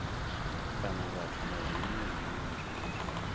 kana vhathu na zwiṅwe zwinzhi